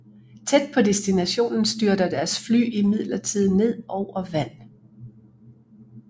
Tæt på destinationen styrter deres fly imidlertid ned over vand